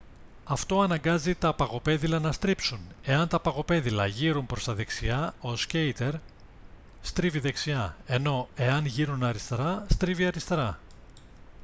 αυτό αναγκάζει τα παγοπέδιλα να στρίψουν εάν τα παγοπέδιλα γείρουν προς τα δεξιά ο σκείτερ στρίβει δεξιά ενώ εάν γείρουν αριστερά στρίβει αριστερά